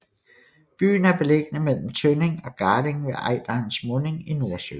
Byen er beliggende mellem Tønning og Garding ved Ejderens munding i Nordsøen